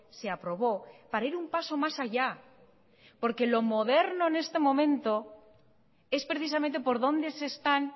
se aprobó para ir un paso más allá porque lo moderno en este momento es precisamente por dónde se están